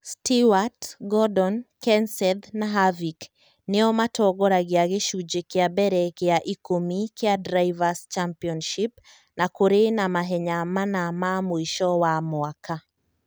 Stewart, Gordon, Kenseth, na Harvick nĩo matongoragia gĩcunjĩ kĩa mbere gĩa ikũmi kĩa Drivers' Championship na kũrĩ na mahenya mana ma mũico wa mwaka.